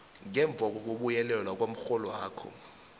ngemva kokubuyekezwa komrholwakho